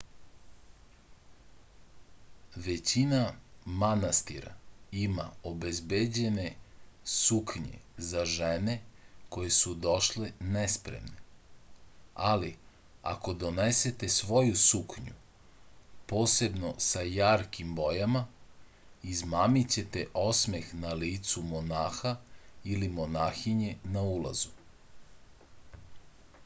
većina manastira ima obezbeđene suknje za žene koje su došle nespremne ali ako donesete svoju suknju posebno sa jarkim bojama izmamićete osmeh na licu monaha ili monahinje na ulazu